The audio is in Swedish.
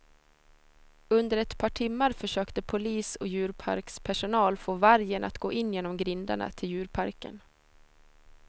Under ett par timmar försökte polis och djurparkspersonal få vargen att gå in genom grindarna till djurparken.